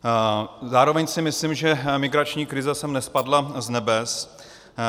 Zároveň si myslím, že migrační krize sem nespadla z nebes.